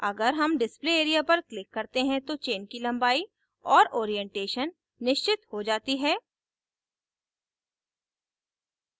अगर हम display area पर click करते हैं तो chain की लम्बाई और ओरीएन्टेशन निश्चित हो जाती है